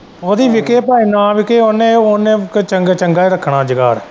ਉਹਦੀ ਵਿਕੇ ਭਾਵੇਂ ਨਾ ਵਿਕੇ ਉਹਨੇ ਚੰਗਾ-ਚੰਗਾ ਹੀ ਰੱਖਣਾ ਜੁਗਾੜ।